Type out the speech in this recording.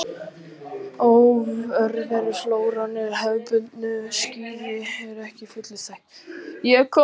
Örveruflóran í hefðbundnu skyri er ekki að fullu þekkt.